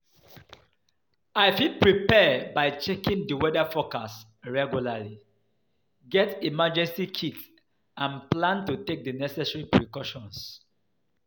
i fit prepare by checking di weather forecast regularly, get emergency kit and plan to take di necessary precautions.